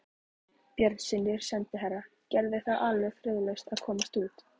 Björnssyni sendiherra: Gerður er alveg friðlaus að komast út.